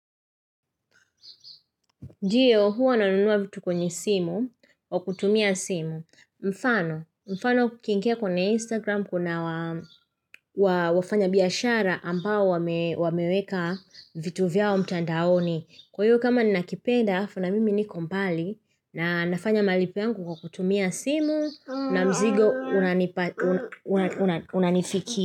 Ndiyo, huwa nanunua vitu kwenye simu, kwa kutumia simu. Mfano, mfano ukiingiakwenye Instagram kuna wafanya biashara ambao wameweka vitu vyao mtandaoni. Kwa hiyo kama ni nakipenda, alafu na mimi niko mbali na nafanya malipo yangu kwa kutumia simu na mzigo unanifikia.